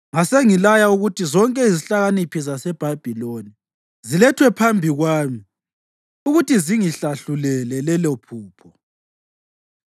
Ngasengilaya ukuthi zonke izihlakaniphi zaseBhabhiloni zilethwe phambi kwami ukuthi zingihlahlulele lelophupho.